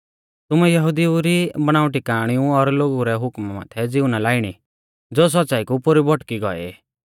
तुमै यहुदिऊ री बणाउटी काअणिऊ और लोगु रै हुकमा माथै ज़िऊ ना लाइणी ज़ो सौच़्च़ाई कु पोरु भौटकी गौऐ ई